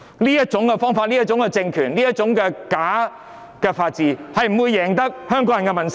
這種方法、這種政權、這種假法治，絕不會贏得香港人的民心。